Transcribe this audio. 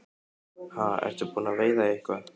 Ha, ertu búinn að veiða eitthvað?